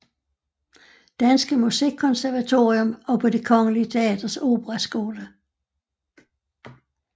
Danske Musikkonservatorium og på Det Kongelige Teaters operaskole